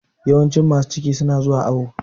Yawancin masu ciki su na zuwa awo